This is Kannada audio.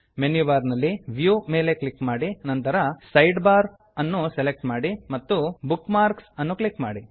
ಮೆನ್ಯು ಬಾರ್ ನಲ್ಲಿ ವ್ಯೂ ಮೇಲೆ ಕ್ಲಿಕ್ ಮಾಡಿ ನಂತರ ಸೈಡ್ಬಾರ್ ಸೈಡ್ ಬಾರ ಅನ್ನು ಸೆಲೆಕ್ಟ್ ಮಾಡಿ ಮತ್ತು ಬುಕ್ಮಾರ್ಕ್ಸ್ ಬುಕ್ ಮಾರ್ಕ್ಸ್ ಅನ್ನು ಕ್ಲಿಕ್ ಮಾಡಿ